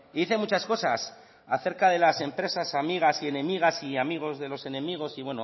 dice muchas cosas acerca de las empresas amigas y enemigas y amigos de los enemigos y